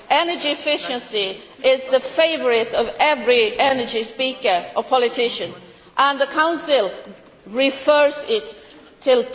Energy efficiency is the favourite theme of every energy speaker or politician, and the Council defers it until